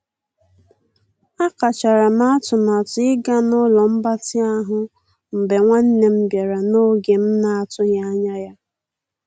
A kachara m atụmatụ ịga n'ụlo mgbatị ahụ mgbe nwanne m bịara n'oge m na- atụghị anya ya.